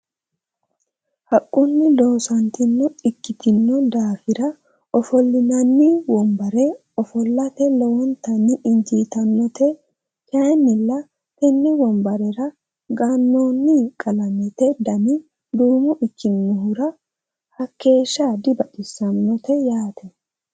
haqunni loosoonita ikitinno daafira ofolinanni wonbere ofolate lowontanni injitannote kayinnila tenne wonbarera ganooni qalammete dani duumo ikinohura hakeesha dibaxisannote yaate.